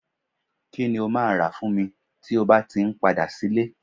kí ni o ma rà fún mi tí o bá ti n padà sí ile